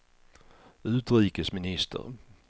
utrikesminister